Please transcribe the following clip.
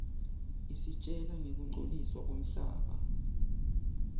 isitjela ngekungcoliswa kwemhlaba